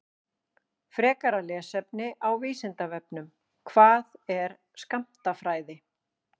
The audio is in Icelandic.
Frekara lesefni á Vísindavefnum: Hvað er skammtafræði?